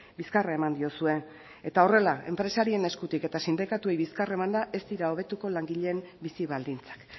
bizkarra eman diozue eta horrela enpresarien eskutik eta sindikatuei bizkarra emanda ez dira hobetuko langileen bizi baldintzak